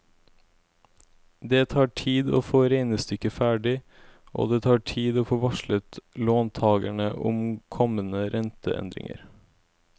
Det tar tid å få regnestykket ferdig, og det tar tid å få varslet låntagerne om kommende renteendringer.